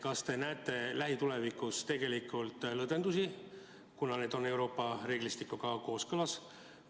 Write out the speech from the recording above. Kas te näete lähitulevikus ette lõdvendusi, kuna need on Euroopa reeglistikuga kooskõlas?